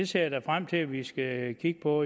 ser da frem til at vi skal kigge på